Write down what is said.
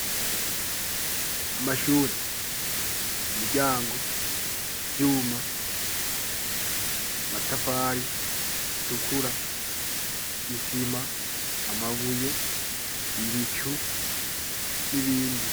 Amashure imiryango vyuma amatafari atukura isima amabuye ibicu n'ibindi.